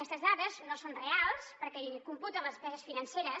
aquestes dades no són reals perquè hi computen les despeses financeres